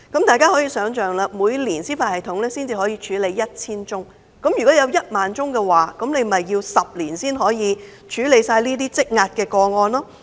大家可以想象，司法系統每年可處理 1,000 宗個案，如果有1萬宗，那便要10年才可完成這些積壓的個案。